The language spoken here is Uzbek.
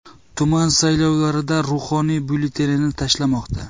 Tuman saylovlarida ruhoniy byulletenini tashlamoqda.